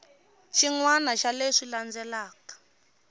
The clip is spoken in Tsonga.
xin wana xa leswi landzelaka